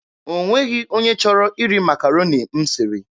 O nweghị onye chọrọ iri Makaroni m siri.